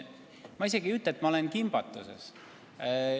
Ma tegelikult ei ütle, et ma olen kimbatuses.